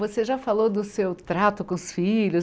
Você já falou do seu trato com os filhos.